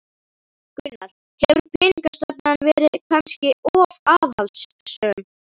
Gunnar: Hefur peningastefnan verið kannski of aðhaldssöm?